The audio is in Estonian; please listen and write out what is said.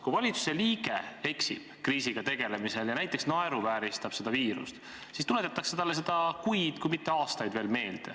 Kui valitsuse liige eksib kriisiga tegelemisel ja näiteks naeruvääristab viirust, siis tuletatakse talle seda meelde kuid, kui mitte aastaid.